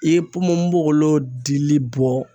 I ye ponponpogolon dili bɔ